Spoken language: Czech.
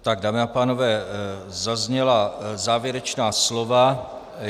Tak, dámy a pánové, zazněla závěrečná slova.